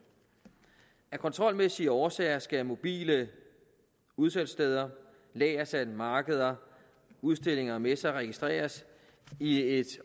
af kontrolmæssige årsager skal mobile udsalgssteder lagersalg markeder udstillinger og messer registreres i et